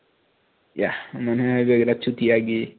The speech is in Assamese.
yeah মানে আৰু একোটা